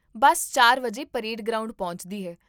ਬੱਸ ਚਾਰ ਵਜੇ parade ground ਪਹੁੰਚਦੀ ਹੈ